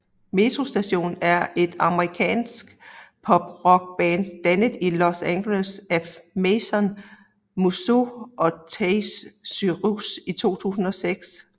Metro Station er et amerikansk pop rock band dannet i Los Angeles af Mason Musso og Trace Cyrus i 2006